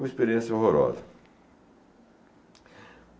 Uma experiência horrorosa.